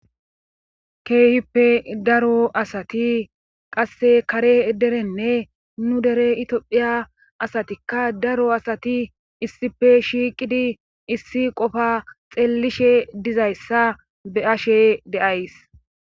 keefippe daro asati qasse kare derenne nu dere itphiya asatikka daro asati issife shiiqidi issi qofa xeellishe dizayssa be ashe deays